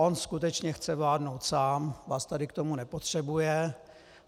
On skutečně chce vládnout sám, vás tady k tomu nepotřebuje.